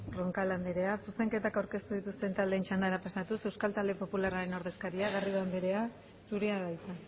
roncal andrea zuzenketak aurkeztu dituzten taldeen txandara pasatuz euskal talde popularraren ordezkaria garrido andrea zurea da hitza